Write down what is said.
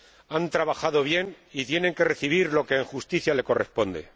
Han trabajado bien y tienen que recibir lo que, en justicia, les corresponde